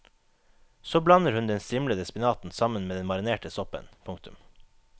Så blander hun den strimlede spinaten sammen med den marinerte soppen. punktum